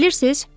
Bilirsiz?